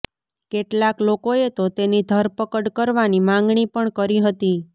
કેટલાક લોકોએ તો તેની ધરપકડ કરવાની માંગણી પણ કરી હતી